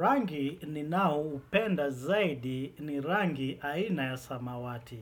Rangi ninao upenda zaidi ni rangi aina ya samawati.